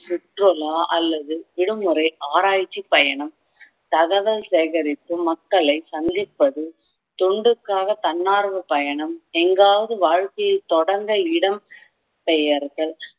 சுற்றுலா அல்லது விடுமுறை ஆராய்ச்சி பயணம் தகவல் சேகரித்து மக்களை சந்திப்பது தொண்டுக்காக தன்னார்வப் பயணம் எங்காவது வாழ்க்கையை தொடங்க இடம் பெயர்தல்